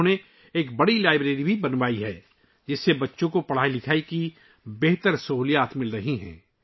انہوں نے ایک بڑی لائبریری بھی بنائی ہے ، جس کی وجہ سے بچوں کو تعلیم کی بہتر سہولتیں مل رہی ہیں